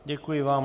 Děkuji vám.